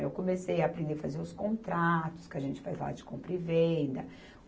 Eu comecei a aprender a fazer os contratos que a gente faz lá de compra e venda.